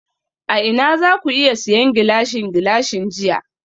A ina zaku iya siyan Gilashin Gilashin jiya?